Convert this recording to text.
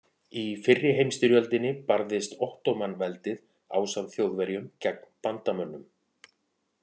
Í fyrri heimstyrjöldinni barðist Ottóman-veldið ásamt Þjóðverjum gegn bandamönnum.